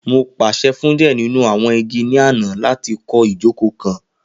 Mo paṣẹ fun diẹ ninu awọn igi ni ana lati kọ ijoko kan